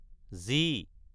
G